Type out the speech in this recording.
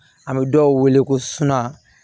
An bɛ dɔw wele ko suna